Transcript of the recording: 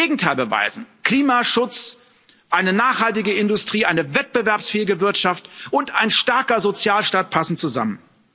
Wir müssen das Gegenteil beweisen Klimaschutz, eine nachhaltige Industrie, eine wettbewerbsfähige Wirtschaft und ein starker Sozialstaat passen zusammen.